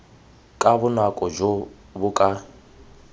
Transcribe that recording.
ka bonako jo bo ka